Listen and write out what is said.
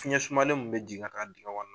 Fiɲɛ sumalen mun bɛ jigin a ka dingɛ kɔnɔ